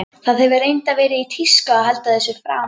Það hefur reyndar verið í tísku að halda þessu fram.